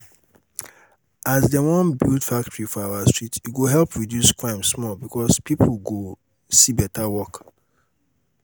as dem wan build factory for our street e go help reduce crime small because people go see better work